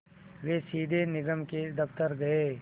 वे सीधे निगम के दफ़्तर गए